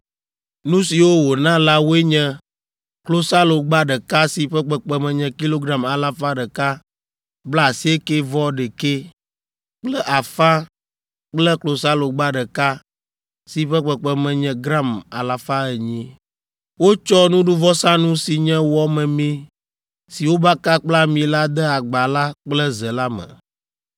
Nu siwo wòna la woe nye klosalogba ɖeka si ƒe kpekpeme nye kilogram alafa ɖeka blaasiekɛ-vɔ-ɖekɛ kple afã kple klosalogba ɖeka si ƒe kpekpeme nye gram alafa enyi. Wotsɔ nuɖuvɔsanu si nye wɔ memee si wobaka kple ami la de agba la kple ze la me;